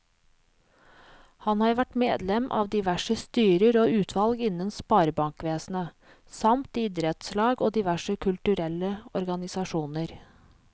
Han har vært medlem av diverse styrer og utvalg innen sparebankvesenet, samt i idrettslag og diverse kulturelle organisasjoner.